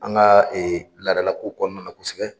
An ka laadalakow kɔnɔna na kosɛbɛ.